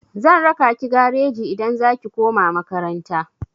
Zan raka ki gareji idan za ki koma makaranta.